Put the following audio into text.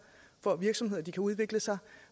for at virksomheder kan udvikle sig